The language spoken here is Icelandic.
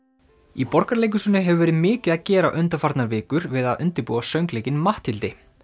í Borgarleikhúsinu hefur verið mikið að gera undanfarnar vikur við að undirbúa söngleikinn Matthildi